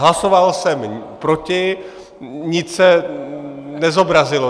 Hlasoval jsem proti, nic se nezobrazilo.